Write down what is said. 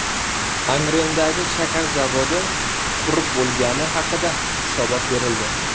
Angrendagi shakar zavodi qurib bo‘lingani haqida hisobot berildi.